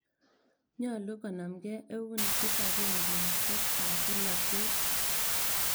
Nyalu konamkei eun kipakengeisyek ap polotet.